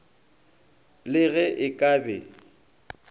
le ge e ka be